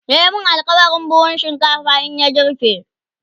ya min alkawalin buhun shinkafa in ya girbe